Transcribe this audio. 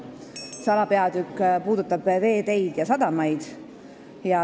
See alapeatükk käsitleb veeteid ja sadamaid.